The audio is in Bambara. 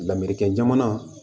Lamerikɛn jamana